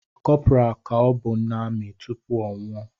Corporal ka ọbụ n’amị tupu ọnwụ o